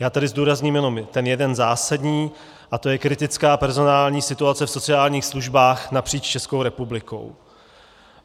Já tady zdůrazním jenom ten jeden zásadní a tím je kritická personální situace v sociálních službách napříč Českou republikou.